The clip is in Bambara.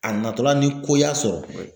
A natɔla ni ko y'a sɔrɔ